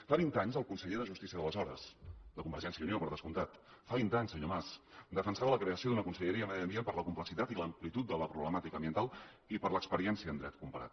fa vint anys el conseller de justícia d’aleshores de convergència i unió per descomptat fa vint anys senyor mas defensava la creació d’una conselleria de medi ambient per la complexitat i l’amplitud de la problemàtica ambiental i per l’experiència en dret comparat